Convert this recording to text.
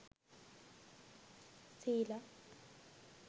sila